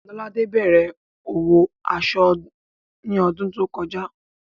Lọ́ládé bẹ̀rẹ̀ òwò aṣọ ní ọdún tó kọjá